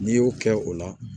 N'i y'o kɛ o la